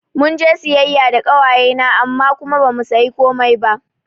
Munje siyayya da ƙawaye na amma kuma bamu sayi komai ba